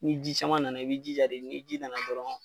Ni ji caman nana i bi jija de ni ji nana dɔrɔn